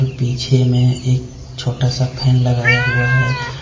पीछे में एक छोटा सा फैन लगाया हुआ है।